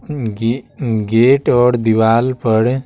जी gate और दीवाल पर--